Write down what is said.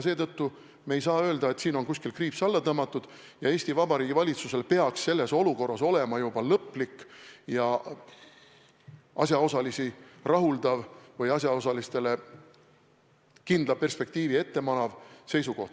Seetõttu me ei saa öelda, et siin on kuskil kriips alla tõmmatud ning Eesti Vabariigi valitsusel peaks selles olukorras olema juba lõplik ja asjaosalisi rahuldav või asjaosalistele kindlat perspektiivi ette manav seisukoht.